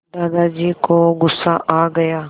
दादाजी को गुस्सा आ गया